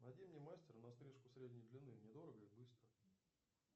найди мне мастера на стрижку средней длины недорого и быстро